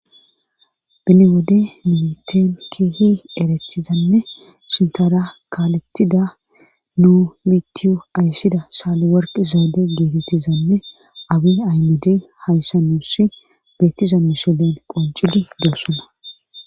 Bine wode miniteen keehi eretizanne sintara kaalettida nuu litiyo ayssida saaliworq zaade geetettizanne abi aymede hayssa nuss beettiza misulen qonculi deossuna